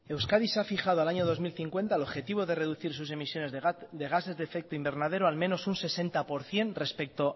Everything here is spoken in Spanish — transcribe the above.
euskadi se ha fijado al año dos mil cincuenta el objetivo de reducir sus emisiones de gases de efecto invernadero al menos un sesenta por ciento respecto